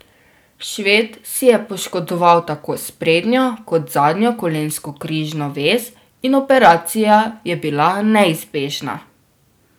Šved si je poškodoval tako sprednjo kot zadnjo kolensko križno vez in operacija je bila neizbežna.